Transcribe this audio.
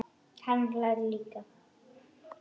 Ekki heldur annarra barna pabbi.